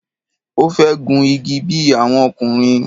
Ó fẹ́ gun igi bí i àwọn ọkùnrin.